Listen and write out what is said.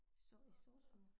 Så i sosu